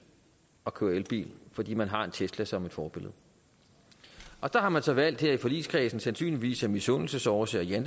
at køre elbil fordi man har en tesla som forbillede der har man så valgt her i forligskredsen sandsynligvis af misundelsesårsager